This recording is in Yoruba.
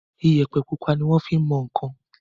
Iyẹ̀pẹ̀ pupa ni wọ́n fin mọ nǹkan.